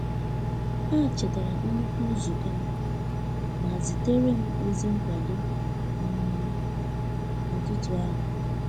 Ha chetara nnukwu nzụko m,ma ziterem ozi nkwado um n'ụtụtụ ahụ